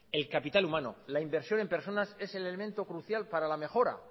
el capital humano la inversión en personas es el elemento crucial para la mejora